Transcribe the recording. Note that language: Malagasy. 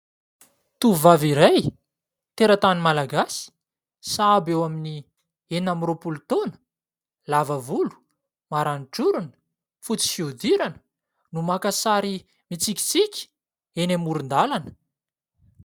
Tovovavy iray teratany malagasy. Sahabo eo amin'ny enina amby roapolo taona, lava volo, maranitra orona, fotsy fihodirana no maka sary mitsikitsiky eny amoron-dalana.